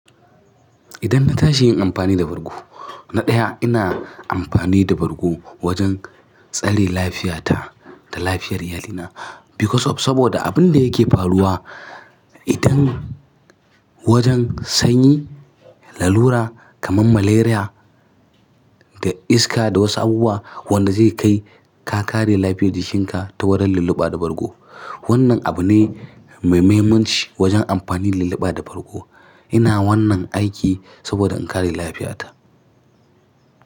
Idan na tashi yin amfani da bargo, na ɗaya ina amfani da bargo wajen tsare lafiyata da lafiyar iyalina because of saboda abin da yake faruwa idan wajen sanyi, lalura kamar malaria da iska da wasu abubuwa wanda zai kai ka kare lafiyar jikinka ta wurin lulluɓa da bargo. Wannan abu ne mai mahimmanci wajen amfani lulluɓa da bargo. Ina wannan aiki saboda in kare lafiyata.